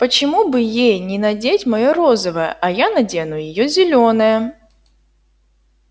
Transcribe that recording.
почему бы ей не надеть моё розовое а я надену её зелёное